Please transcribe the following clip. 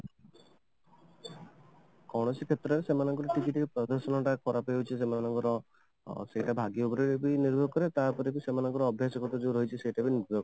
କୌଣସି କ୍ଷେତ୍ର ରେ ସେମାନଙ୍କର କିଛି କିଛି ପ୍ରଦର୍ଶନ ଗୁଡାକ ଖରାପ ହେଇଯାଉଛି ସେମାନଙ୍କର ସେଇଟା ଭାବିବା ଉପରେ ନିର୍ଭର କରେ ତାପରେ ସେମାନଙ୍କର ଅଭ୍ୟାଷ ଯୋଉ ରହିଛି ତା ଉପରେ ବି ନିର୍ଭର କରେ